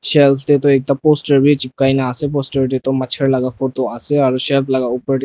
shelf tey toh ekta poster bi chipkai nah ase poster tey du machar laga photo ase aro shelf laka opor de--